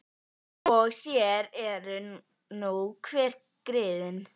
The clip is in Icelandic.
Og sér eru nú hver griðin!